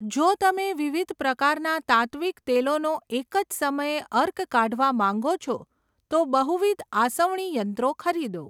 જો તમે વિવિધ પ્રકારના તાત્ત્વિક તેલોનો એક જ સમયે અર્ક કાઢવા માંગો છો, તો બહુવિધ આસવણી યંત્રો ખરીદો.